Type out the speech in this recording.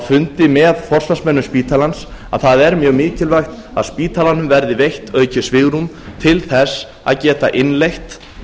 fundi með forsvarsmönnum spítalans að það er mjög mikilvægt að spítalanum verði veitt aukið svigrúm til þess að geta innleitt